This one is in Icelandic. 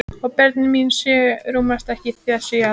Og börnin mín sjö rúmast ekki í þessu hjarta.